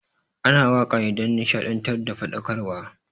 Ana wakane dan nishaɗantar da faɗakarwa